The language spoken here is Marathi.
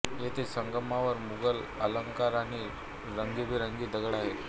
येथे संगमावर मुगल अलंकार आणि रंगीबेरंगी दगड आहेत